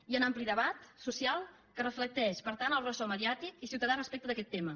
hi ha un ampli debat so·cial que reflecteix per tant el ressò mediàtic i ciutadà respecte d’aquest tema